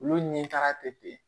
Olu ni taga tɛ ten